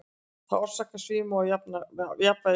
Það orsakar svima og jafnvægisleysi.